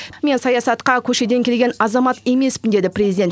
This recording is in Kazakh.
мен саясатқа көшеден келген азамат емеспін деді президент